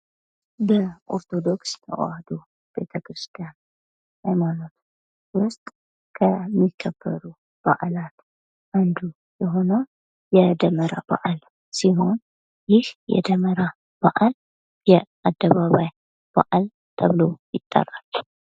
በኦርቶዶክስ ተዋህዶ ቤተክርስቲያን ሃይማኖት ዉስጥ ከሚከበረው አንዱ የሆነው የደመራ በዓል ሲሆን ይህ የደመራ በዓል የአደባባይ በዓል ተብሎ ይጠራል::